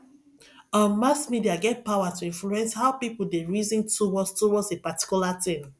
um mass media get power to influence how pipo de reason towards towards a particular thing